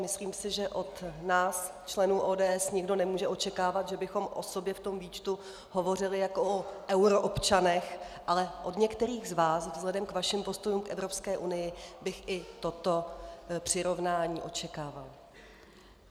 Myslím si, že od nás členů ODS nikdo nemůže očekávat, že bychom o sobě v tom výčtu hovořili jako o euroobčanech, ale od některých z vás vzhledem k vašim postům v Evropské unii bych i toto přirovnání očekávala.